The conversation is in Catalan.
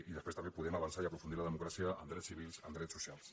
i després també podem avançar i aprofundir la democràcia en drets civils en drets socials